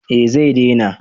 Eh zai dena